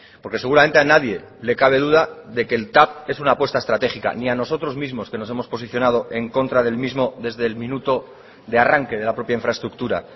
porque seguramente a nadie le cabe duda de que el tav es una apuesta estratégica ni a nosotros mismos que nos hemos posicionado en contra del mismo desde el minuto de arranque de la propia infraestructura